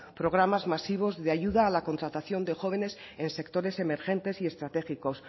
programas masivos de ayuda a la contratación de jóvenes en sectores emergentes y estratégicos